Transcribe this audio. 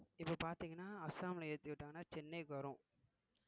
இப்ப பார்த்தீங்கன்னா அஸ்ஸாம்ல ஏத்தி விட்டாங்கன்னா சென்னைக்கு வரும்